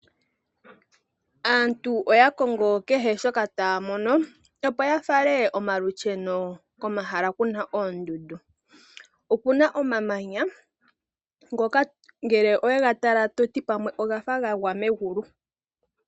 Aantu oyakongo kehe shoka taamono opo yafale omalusheno pomahala ngika gena oondundu. Okuna omamanya ngele ngoka owega tala ototi pamwe ogafa gaza megulu.